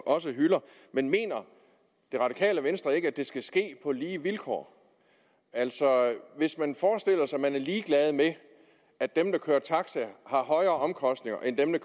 også hylder men mener det radikale venstre ikke at det skal ske på lige vilkår altså at man er ligeglad med at dem der kører taxa har højere omkostninger end dem der